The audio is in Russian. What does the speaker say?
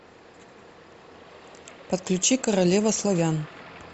подключи королева славян